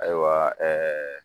Ayiwa